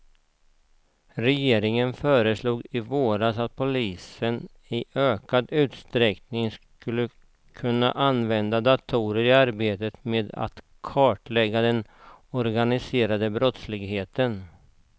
Regeringen föreslog i våras att polisen i ökad utsträckning ska kunna använda datorer i arbetet med att kartlägga den organiserade brottsligheten.